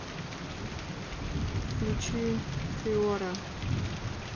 включи фиора